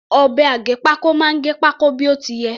Ọ̀bẹ aggépákó máa gẹ pákó bí ó ti yẹ.